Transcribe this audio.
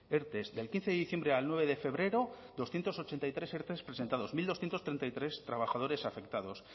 erte del quince de diciembre al nueve de febrero doscientos ochenta y tres erte presentados mil doscientos treinta y tres trabajadores afectados